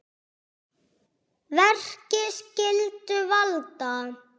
Verki skyldu valda